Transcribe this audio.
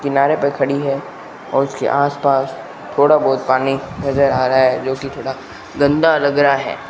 किनारे पर खड़ी है और उसके आस पास थोड़ा बहोत पानी नजर आ रहा है जोकि थोड़ा गंदा लग रहा है।